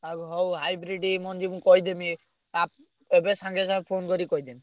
ଆଉ ହଉ hybrid ମଞ୍ଜି ମୁଁ କହିଦେବି ଆ ଏବେ ସାଙ୍ଗେ ସାଙ୍ଗେ phone କରି କହିଦେବି।